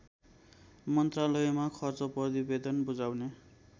मन्त्रालयमा खर्च प्रतिवेदन बुझाउने